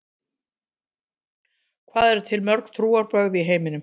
Hvað eru til mörg trúarbrögð í heiminum?